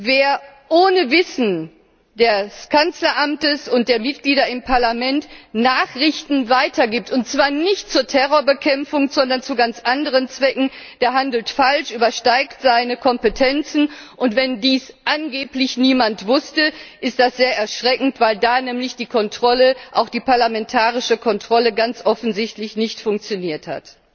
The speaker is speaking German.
Wer ohne Wissen des Kanzleramtes und der Mitglieder im Parlament Nachrichten weitergibt, und zwar nicht zur Terrorbekämpfung, sondern zu ganz anderen Zwecken, der handelt falsch, übersteigt seine Kompetenzen, und wenn dies angeblich niemand wusste, ist das sehr erschreckend, weil da nämlich die Kontrolle auch die parlamentarische Kontrolle ganz offensichtlich nicht funktioniert hat.